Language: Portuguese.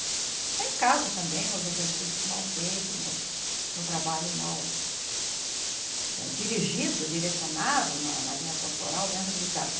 É em casa também, nos exercícios mal feitos, nos no trabalho mal dirigido, direcionado na na linha corporal, dentro de casa.